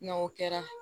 N'o kɛra